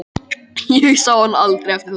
Ég sá hann aldrei eftir það.